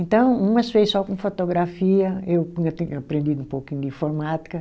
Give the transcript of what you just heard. Então, umas fez só com fotografia, eu tinha aprendido um pouquinho de informática.